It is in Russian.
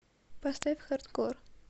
поставь хардкор